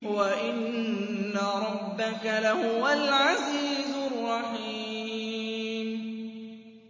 وَإِنَّ رَبَّكَ لَهُوَ الْعَزِيزُ الرَّحِيمُ